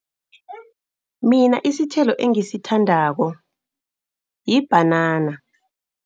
Mina isithelo engisithandako yibhanana.